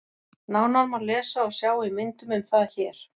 Nánar má lesa og sjá í myndum um það hér.